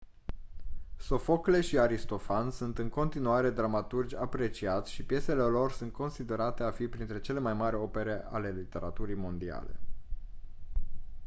sofocle și aristofan sunt în continuare dramaturgi apreciați și piesele lor sunt considerate a fi printre cele mai mari opere ale literaturii mondiale